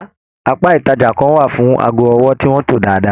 Apá ìtajà kàn wà fún aago ọwọ tí wọn to dáadáa.